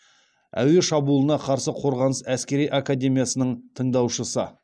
әуе шабуылына қарсы қорғаныс әскери академиясының тыңдаушысы